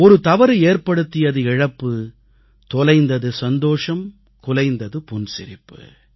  ஒரு தவறு ஏற்படுத்தியது இழப்பு தொலைந்தது சந்தோஷம் குலைந்தது புன்சிரிப்பு